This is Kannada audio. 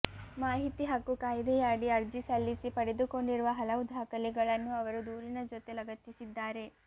ಮಾಹಿತಿ ಹಕ್ಕು ಕಾಯ್ದೆಯ ಅಡಿ ಅರ್ಜಿ ಸಲ್ಲಿಸಿ ಪಡೆದುಕೊಂಡಿರುವ ಹಲವು ದಾಖಲೆಗಳನ್ನು ಅವರು ದೂರಿನ ಜೊತೆ ಲಗತ್ತಿಸಿದ್ದಾರೆ